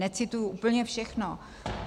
Necituji úplně všechno.